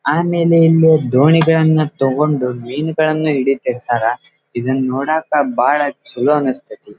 ಆಮೇಲೆ ಇಲ್ಲಿ ದೋಣಿಯ್ಗಳ್ಳನ್ನು ತಗೊಂಡು ಮೀನುಗಲ್ಲನ್ನ ಹಿಡಿತಿರ್ತಾರೆ ಇದನ್ನ ನೋಡಕ್ಕೆ ಬಹಳ ಚಲೋ ಅನಿಸುತ್ತದೆ.